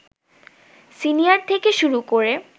senior থেকে শুরু করে